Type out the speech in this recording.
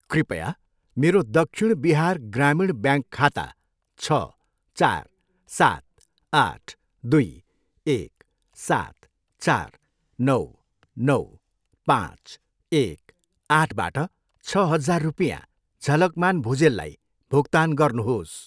कृपया मेरो दक्षिण बिहार ग्रामीण ब्याङ्क खाता छ, चार, सात, आठ, दुई, एक, सात, चार, नौ, नौ, पाँच, एक, आठबाट छ हजार रुपियाँ झलकमान भुजेललाई भुक्तान गर्नुहोस्।